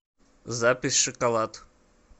запись шоколад